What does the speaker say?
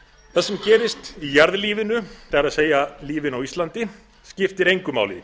það sem gerist í jarðlífinu það er lífinu á íslandi skiptir engu máli